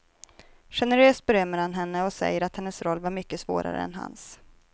Generöst berömmer han henne och säger att hennes roll var mycket svårare än hans.